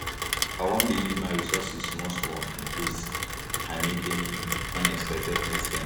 i wan dey use my resources small small in case i make any unexpected expense